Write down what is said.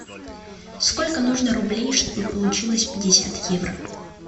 сколько нужно рублей чтобы получилось пятьдесят евро